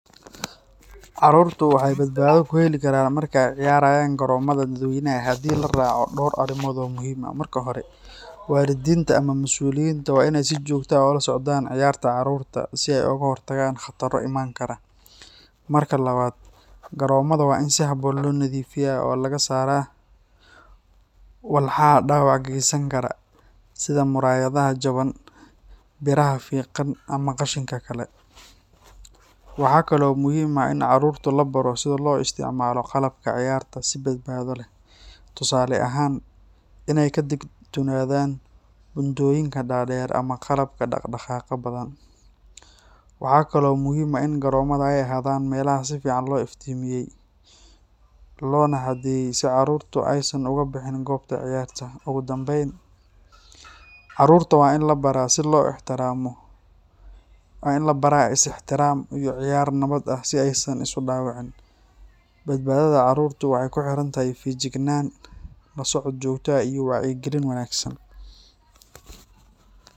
Carruurtu waxay badbaado ku heli karaan marka ay ciyaarayaan garoomada dadweynaha haddii la raaco dhowr arrimood oo muhiim ah. Marka hore, waalidiinta ama masuuliyiinta waa in ay si joogto ah ula socdaan ciyaarta carruurta si ay uga hortagaan khataro iman kara. Marka labaad, garoomada waa in si habboon loo nadiifiyaa oo laga saaraa walxaha dhaawac geysan kara sida muraayadaha jaban, biraha fiiqan, ama qashinka kale. Waxaa kale oo muhiim ah in carruurtu la baro sida loo isticmaalo qalabka ciyaarta si badbaado leh. Tusaale ahaan, inay ka digtoonaadaan buundooyinka dhaadheer ama qalabka dhaqdhaqaaqa badan. Waxaa kaloo muhiim ah in garoomada ay ahaadaan meelaha si fiican loo iftiimiyey, loona xadeeyey si carruurtu aysan uga bixin goobta ciyaarta. Ugu dambayn, carruurta waa in la baro is ixtiraam iyo ciyaar nabad ah si aysan isu dhaawicin. Badbaadada carruurta waxay ku xiran tahay feejignaan, la socod joogto ah iyo wacyigelin wanaagsan.